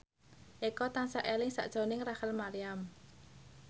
Eko tansah eling sakjroning Rachel Maryam